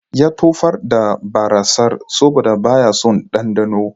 Ya tofar da barassar saboda baya son ɗanɗanon